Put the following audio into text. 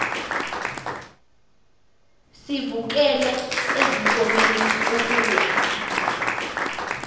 sivukele ezinkomeni ukuya